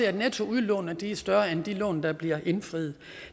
at netttoudlånene er større end de lån der bliver indfriet